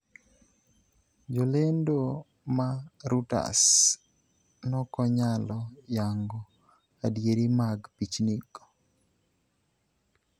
Jolendo ma Reuters nokonyalo yango adieri mag pichnigo.